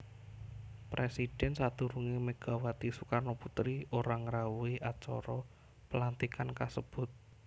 Presidhèn sadurungé Megawati Soekarnoputri ora ngrawuhi acara pelantikan kasebut